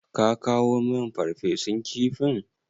Ka kawo min Farfesun kifin?